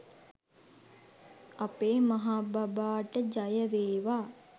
අපේ මහාබබාට ජයවේවා